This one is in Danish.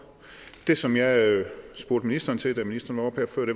det som jeg spurgte ministeren til da ministeren